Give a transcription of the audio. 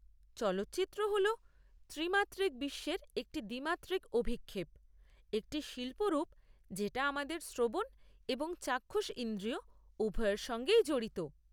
চলচ্চিত্র হল ত্রিমাত্রিক বিশ্বের একটি দ্বিমাত্রিক অভিক্ষেপ, একটি শিল্প রূপ যেটা আমাদের শ্রবণ এবং চাক্ষুষ ইন্দ্রিয় উভয়ের সঙ্গেই জড়িত।